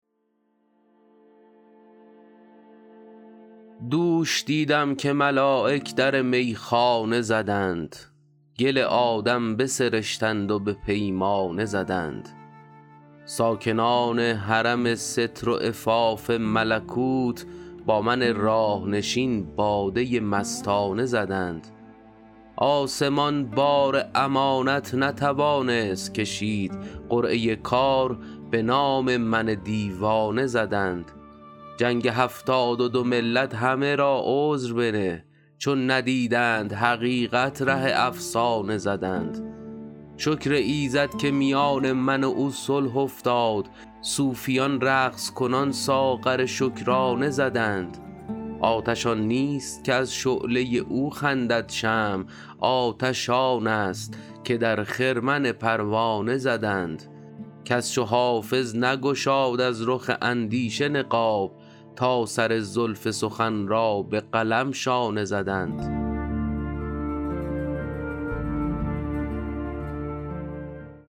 دوش دیدم که ملایک در میخانه زدند گل آدم بسرشتند و به پیمانه زدند ساکنان حرم ستر و عفاف ملکوت با من راه نشین باده مستانه زدند آسمان بار امانت نتوانست کشید قرعه کار به نام من دیوانه زدند جنگ هفتاد و دو ملت همه را عذر بنه چون ندیدند حقیقت ره افسانه زدند شکر ایزد که میان من و او صلح افتاد صوفیان رقص کنان ساغر شکرانه زدند آتش آن نیست که از شعله او خندد شمع آتش آن است که در خرمن پروانه زدند کس چو حافظ نگشاد از رخ اندیشه نقاب تا سر زلف سخن را به قلم شانه زدند